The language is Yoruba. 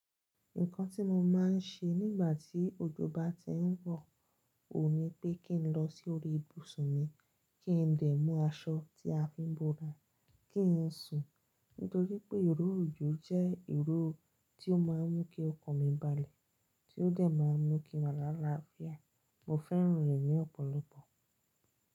Nǹkan tí mo máa ń ṣe nígbà tí ojo bá ti ń wọ̀, ò ní pé kí n lọ sí orí ibùsùn mi, kí n dẹ̀ mú aṣọ tí a fi ń búra, kí n sùn. Nítorí pé ìró òjò jẹ́ ìró tí ó máa ń mú kí ọkàn mi balẹ̀, tí ó dẹ̀ máa ń mú kí mo lá láfiá. Mo fẹ́ràn rẹ̀ ní ọ̀pọ̀lọpọ̀.